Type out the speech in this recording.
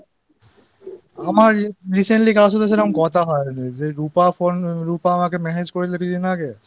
আমার Recently কার সাথে কথা হয় যে রূপা রূপা আমাকে message করেছিল কিছুদিন আগে